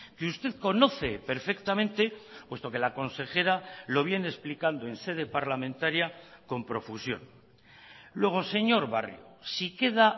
que usted conoce perfectamente puesto que la consejera lo viene explicando en sede parlamentaria con profusión luego señor barrio si queda